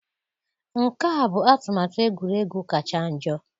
Nke a bụ atụmatụ egwuregwu kacha njọ.